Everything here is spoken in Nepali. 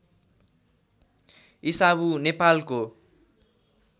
इसाबु नेपालको